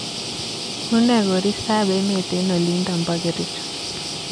Unee koristob emet eng olindo bo kericho